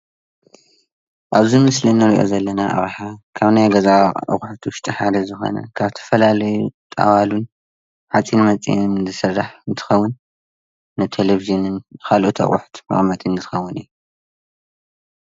ኣብዚ ምስሊ እንርእዮ ዘለና ኣቅሓ ካብ ናይ ገዛ ኣቁሑት ውሽጢ ሓደ ዝኮነ ካብ ዝተፈላለዩ ጣዋሉን ሓፂን መፂንን ዝስራሕ እንትከውንን ንቴሌቭዥንን ንካልኦት ኣቁሑት መቀመጢ ዝከውን እዩ።